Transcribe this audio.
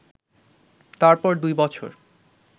তারপর দুই বছর